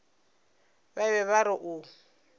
ba be ba re o